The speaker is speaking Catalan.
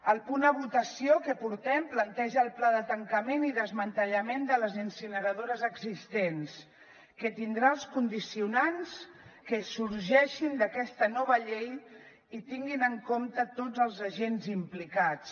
el punt a votació que portem planteja el pla de tancament i desmantellament de les incineradores existents que tindrà els condicionants que sorgeixin d’aquesta nova llei i que tinguin en compte tots els agents implicats